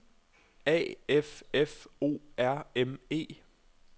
A F F O R M E